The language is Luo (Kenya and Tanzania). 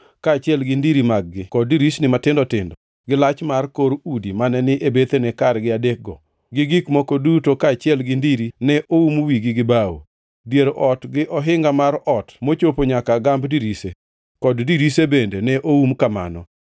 kaachiel gi ndiri mag-gi kod dirisni matindo tindo, gi lach mar kor udi mane ni e bethene kargi adekgo; gi gik moko duto kaachiel gi ndiri ne oum wigi gi bao. Dier ot gi ohinga mar ot mochopo nyaka gamb dirise, kod dirise bende ne oum kamano.